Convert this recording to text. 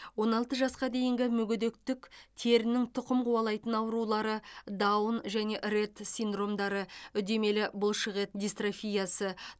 он алты жасқа дейінгі мүгедектік терінің тұқым қуалайтын аурулары даун және ретт синдромдары үдемелі бұлшықет дистрофиясы